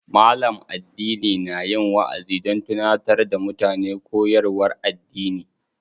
Malam addini na yin waʼazi don tunatar da mutane koyarwar addini.